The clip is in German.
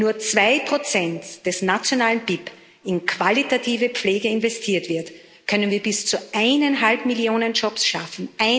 Wenn nur 2 des nationalen BIP in qualitative Pflege investiert werden, können wir bis zu 1,5 Millionen Jobs schaffen.